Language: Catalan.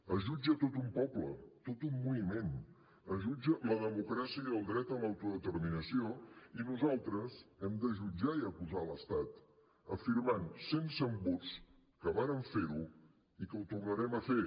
es jutja tot un poble tot un moviment es jutgen la democràcia i el dret a l’autodeterminació i nosaltres hem de jutjar i acusar l’estat afirmant sense embuts que vàrem fer ho i que ho tornarem a fer